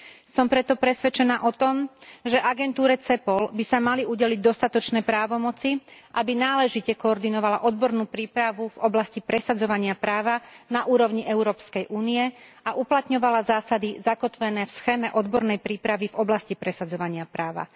Som preto presvedčená o tom, že agentúre Cepol by sa mali udeliť dostatočné právomoci, aby náležite koordinovala odbornú prípravu v oblasti presadzovania práva na úrovni Európskej únie a uplatňovala zásady zakotvené v schéme odbornej prípravy v oblasti presadzovania práva.